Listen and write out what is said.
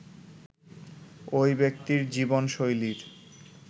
ঐ ব্যক্তির জীবনশৈলীর